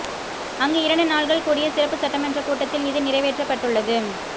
அங்கு இரண்டு நாள்கள் கூடிய சிறப்பு சட்டமன்றக் கூட்டத்தில் இது நிறைவேற்றப்பட்டுள்ளது